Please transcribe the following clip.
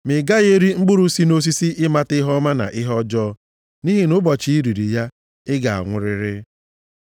ma ị gaghị eri mkpụrụ si nʼosisi ịmata ihe ọma na ihe ọjọọ. Nʼihi na ụbọchị i riri ya ị ga-anwụrịrị.”